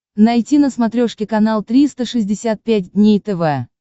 найти на смотрешке канал триста шестьдесят пять дней тв